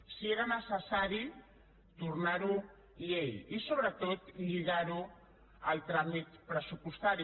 si era necessari tornar ho llei i sobretot lligar ho al tràmit pressupostari